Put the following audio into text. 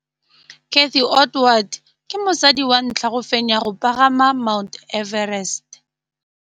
Cathy Odowd ke mosadi wa ntlha wa go fenya go pagama ga Mt Everest.